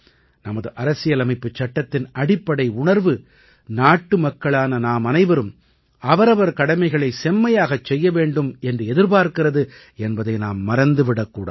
நமது அரசியலமைப்புச் சட்டத்தின் அடிப்படை உணர்வு நாட்டுமக்களான நாம் அனைவரும் அவரவர் கடமைகளை செம்மையாகச் செய்ய வேண்டும் என்று எதிர்பார்க்கிறது என்பதை நாம் மறந்து விடக்கூடாது